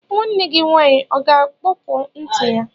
Nwanne gị nwaanyị ọ ga-akpọpu ntị ya?